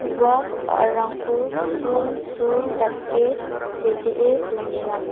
ua ba·rarangko sulsul dake setee donenga.